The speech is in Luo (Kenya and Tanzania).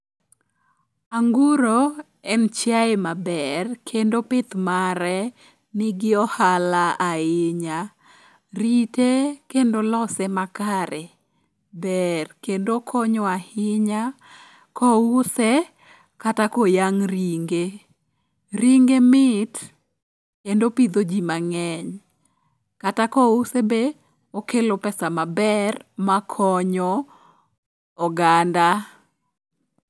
Anguro en chiaye maber kendo pith mare nigi ohala ahinya. Rite kendo lose makare ber kendo konyo ahinya kouse kata koyang' ringe. Ringe mit kendo pidho ji mang'eny. Kata kouse be okelo pesa maber makonyo oganda.